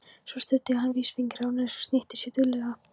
Svo studdi hann vísifingri á nös og snýtti sér duglega.